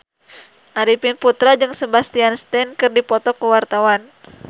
Arifin Putra jeung Sebastian Stan keur dipoto ku wartawan